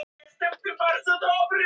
Einir, hvað er opið lengi á sunnudaginn?